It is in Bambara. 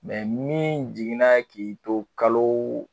Mɛ n'i jiginna k'i to kalo